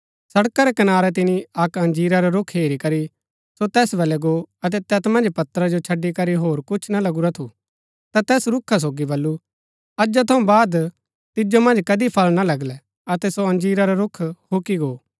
सड़का रै कनारै तिनी अक्क अंजीरा रा रूख हेरी करी सो तैस बलै गो अतै तैत मन्ज पत्रा जो छड़ी करी होर कुछ ना लगुरा थू ता तैस रूखा सोगी बल्लू अजा थऊँ बाद तिजो मन्ज कदी फळ ना लगलै अतै सो अंजीरा रा रूख हुकी गो